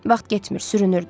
Vaxt getmir, sürünürdü.